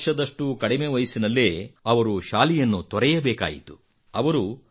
ಹತ್ತು ವರ್ಷದಷ್ಟು ಕಡಿಮೆ ವಯಸ್ಸಿನಲ್ಲೇ ಅವರು ಶಾಲೆಯನ್ನು ತೊರೆಯಬೇಕಾಯಿತು